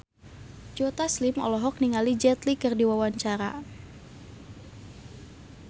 Joe Taslim olohok ningali Jet Li keur diwawancara